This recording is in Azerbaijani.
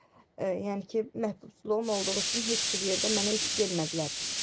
Yəni ki, məhkumluğum olduğu üçün heç bir yerdə mənə iş vermədilər.